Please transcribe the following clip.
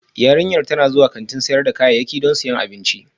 Yarinyar tana zuwa kantin sayar da kayayyaki don siyan abinci